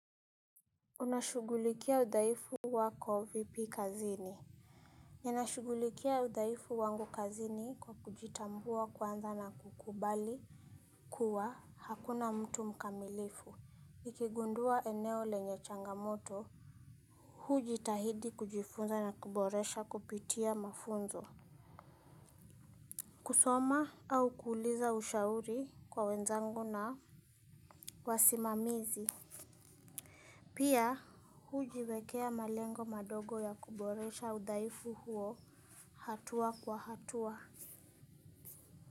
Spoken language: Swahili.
Unashughulikia udhaifu wako vipi kazini. Ninashughulikia udhaifu wangu kazini kwa kujitambua kwanza na kukubali ukigundua eneo lenye changamoto. Hujitahidi kujifunza na kuboresha kupitia mafunzo. Kusoma au kuuliza ushauri kwa wenzangu na wasimamizi. Pia hujiwekea malengo madogo ya kuboresha udhaifu huo. Hatua kwa hatua.